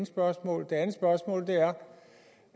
spørgsmål